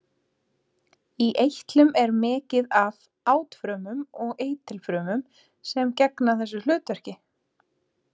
Í eitlum er mikið af átfrumum og eitilfrumum sem gegna þessu hlutverki.